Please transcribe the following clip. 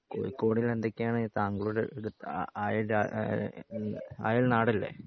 കോഴിക്കോടിന് എന്തൊക്കെയാണ് താങ്കളുടെ എടുത്ത് അഹ് അയൽ ഈഹ് അയൽ നാടല്ലേ